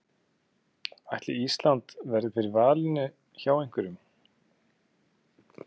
Ætli Ísland verði fyrir valinu hjá einhverjum?